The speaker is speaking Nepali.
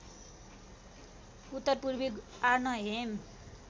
उत्तर पूर्वी आर्नहेम